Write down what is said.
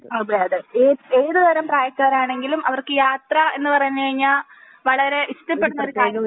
അതെ അതെ ഏ ഏത് തരം പ്രായക്കാർ ആണെങ്കിലും അവർക്ക് യാത്ര എന്ന് പറഞ്ഞുകഴിഞ്ഞാൽ വളരേ ഇഷ്ടപ്പെടുന്ന ഒരു കാര്യം